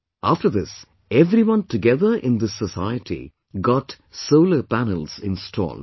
After this everyone together in this society got solar panels installed